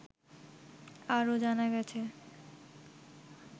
আরও জানা গেছে